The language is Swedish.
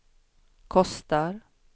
kostar